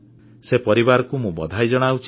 ସେ ପରିବାରକୁ ମୁଁ ସାଧୁବାଦ ଓ କୃତଜ୍ଞତା ଜଣାଉଛି